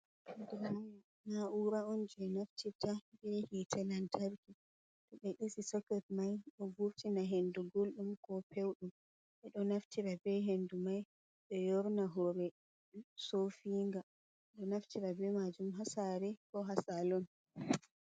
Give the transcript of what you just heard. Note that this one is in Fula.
Diraya. Na'ura oun je naftirta ɓe hite lantarki. To ɓe ɗisi soket mai ɗo vurtina hendu guldum ko pewdum ɓe ɗo naftira be hendu mai ɓe yorna hore sofinga ɗo naftira be majum ha sare ko ha salon.